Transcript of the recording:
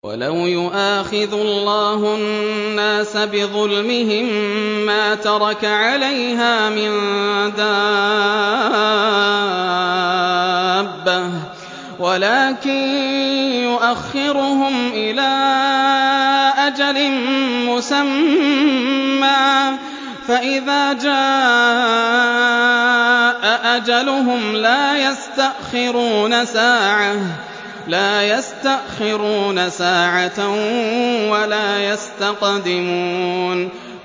وَلَوْ يُؤَاخِذُ اللَّهُ النَّاسَ بِظُلْمِهِم مَّا تَرَكَ عَلَيْهَا مِن دَابَّةٍ وَلَٰكِن يُؤَخِّرُهُمْ إِلَىٰ أَجَلٍ مُّسَمًّى ۖ فَإِذَا جَاءَ أَجَلُهُمْ لَا يَسْتَأْخِرُونَ سَاعَةً ۖ وَلَا يَسْتَقْدِمُونَ